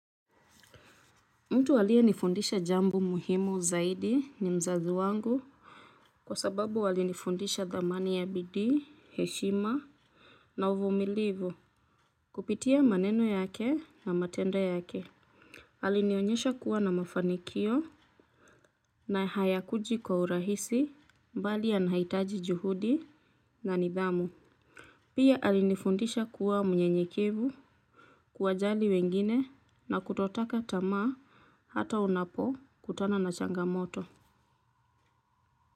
Mtu aliyenifundisha jambo muhimu zaidi ni mzazi wangu. Kwa sababu alinifundisha dhamani ya bidii, heshima na uvumilivu. Kupitia maneno yake na matenda yake. Alinionyesha kuwa na mafanikio na hayakuji kwa urahisi mbali yanahitaji juhudi na nidhamu. Pia alinifundisha kuwa mnyenyekevu kuwajali wengine na kutotaka tama hata unapokutana na changamoto.